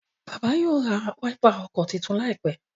bàbá yíò rá Wáípà ọkọ títún laipe.